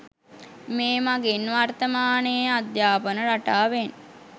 මේ මගින් වර්තමානයේ අධ්‍යාපන රටාවෙන්